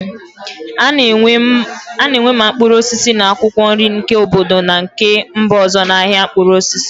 A na-enwe ma mkpụrụ osisi na akwụkwọ nri nke obodo na nke mba ọzọ na ahịa mkpụrụ osisi.